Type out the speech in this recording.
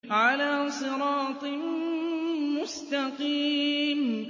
عَلَىٰ صِرَاطٍ مُّسْتَقِيمٍ